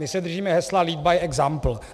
My se držíme hesla lead by example.